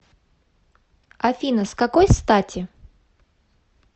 афина с какой стати